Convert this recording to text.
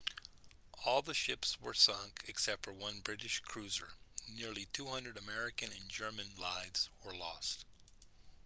all the ships were sunk except for one british cruiser nearly 2:00 american and german lives were lost